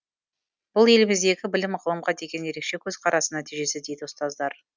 бұл еліміздегі білім мен ғылымға деген ерекше көзқарастың нәтижесі дейді ұстаздар